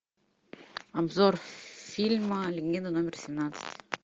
обзор фильма легенда номер семнадцать